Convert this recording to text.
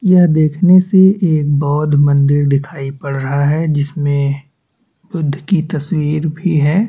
यह देखने से एक बौद्ध मंदिर दिखाई पड़ रहा है जिस मे बुद्ध की तस्वीर भी है।